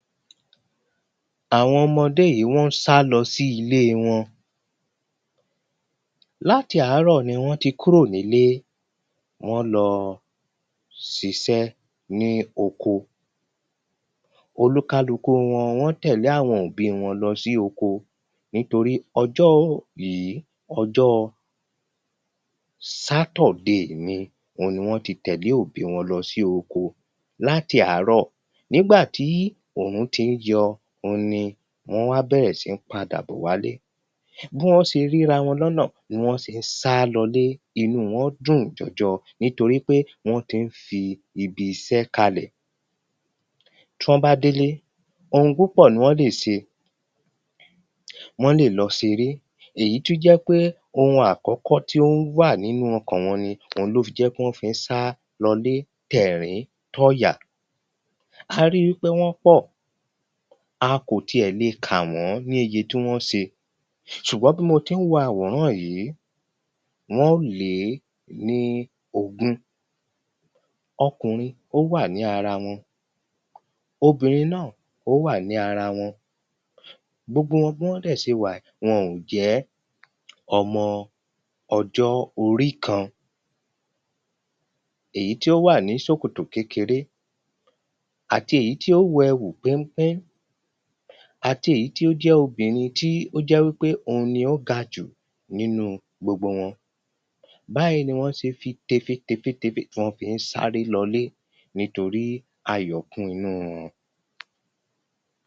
Àwọn ọmọdé yìí wọ́n ń sálọ sí ilé wọn Láti àárọ̀ ni wọ́n ti kúrò nílé Wọ́n lọ ṣiṣẹ́ ní oko Olúkálukú wọn wọ́n tẹ̀lé àwọn òbí wọn lọ sí oko nítorí ọjọ́ yìí ọjọ́ Saturday ni òun ni wọ́n ti tẹ̀lé àwọn òbí wọn lọ sí oko Láti àárọ̀ nígbà tí òrùn ti ń yọ òun ni wọ́n wá bẹ̀rẹ̀ sí ń padà bọ̀ wá ilé Bí wọ́n ṣe rí ara wọn ní ọ̀nà ni wọ́n ṣe ń sá lọ ilé inú wọn dùn jọjọ nítorí pé wọn ti ń fi ibiṣẹ́ kalẹ̀ Tí wọ́n bá délé oun púpọ̀ ni wọ́n lè ṣe Wọ́n lè lọ sèrè Èyí tí ó jẹ́ pé oun àkọ́kọ́ tí ó wà nínú ọkàn wọn ni Òhun ló fi jẹ́ kí wọ́n fi ń sá lọ ilé ti ẹ̀rín ti ọ̀yà A ri wípé wọ́n pọ̀ A kò tiẹ̀ lè kà wọ́n ní iye tí wọ́n ń ṣe Ṣùgbọ́n bí mo ti ń wo àwòrán yìí wọn óò lé ní ogún Ọkùnrin ó wà ní ara wọn Obìnrin náà ó wà ní ara wọn Gbogbo wọn bí wọ́n dẹ̀ ṣe wà wọn ò jẹ́ ọmọ ọjọ́ orí kan Èyí tí ó wà ní ṣòkòtò kékeré àti èyí tí ó wọ ẹ̀wù péńpé àti èyí tí ó jẹ́ obìnrin tí ó jẹ́ wípé òhun ni ó ga jù nínú gbogbo wọn Báyì ni wọ́n ṣe fi tèfètèfètèfè tí wọ́n fi ń sáré lọ ilé nítorí ayọ̀ kún inú wọn